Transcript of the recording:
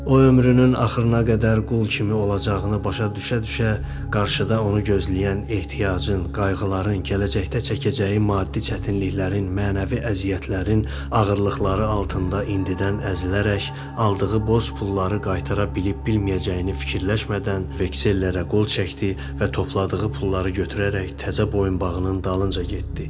O ömrünün axırına qədər qul kimi olacağını başa düşə-düşə, qarşıda onu gözləyən ehtiyacın, qayğıların, gələcəkdə çəkəcəyi maddi çətinliklərin, mənəvi əziyyətlərin ağırlıqları altında indidən əzilərək, aldığı borc pulları qaytara bilib-bilməyəcəyini fikirləşmədən, veksellərə qol çəkdi və topladığı pulları götürərək təzə boyunbağının dalınca getdi.